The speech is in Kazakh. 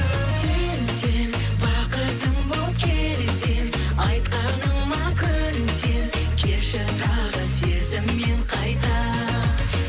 сен сен бақытым боп келсең айтқаныма көнсең келші тағы сезіммен қайта